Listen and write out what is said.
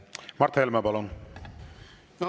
Mart Helme, palun!